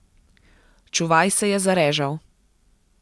Čuvaj se je zarežal.